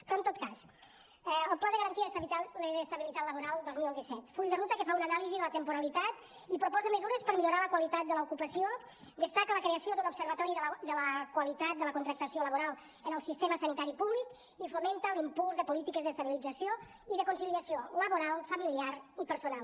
però en tot cas el pla de garantia d’estabilitat laboral dos mil disset full de ruta que fa una anàlisi de la temporalitat i proposa mesures per a millorar la qualitat de l’ocupació destaca la creació de l’observatori de la qualitat de la contractació laboral en el sistema sanitari públic i fomenta l’impuls de polítiques d’estabilització i de conciliació laboral familiar i personal